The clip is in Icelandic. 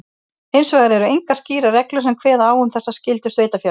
Hins vegar eru engar skýrar reglur sem kveða á um þessa skyldu sveitarfélaga.